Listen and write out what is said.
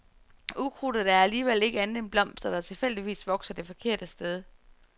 Ukrudt er alligevel ikke andet end blomster, der tilfældigvis vokser det forkerte sted.